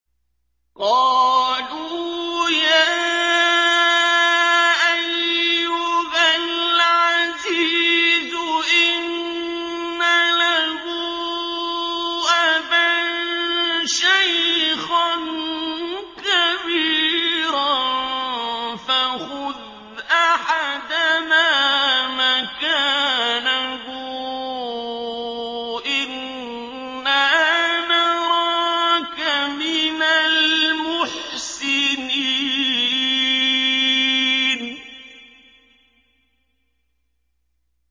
قَالُوا يَا أَيُّهَا الْعَزِيزُ إِنَّ لَهُ أَبًا شَيْخًا كَبِيرًا فَخُذْ أَحَدَنَا مَكَانَهُ ۖ إِنَّا نَرَاكَ مِنَ الْمُحْسِنِينَ